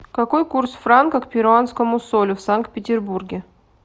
какой курс франка к перуанскому солю в санкт петербурге